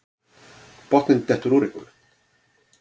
Botninn dettur úr einhverju